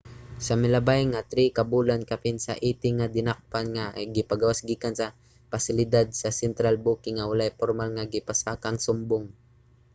sa milabay nga 3 ka bulan kapin sa 80 nga dinakpan ang gipagawas gikan sa pasilidad sa central booking nga walay pormal nga gipasakang sumbong